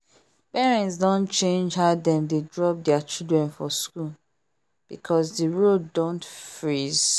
parents don change how dem dey drop their children for school because the road don freeze